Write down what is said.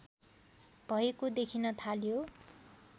भएको देखिन थाल्यो